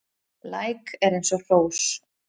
Læk er eins og hrós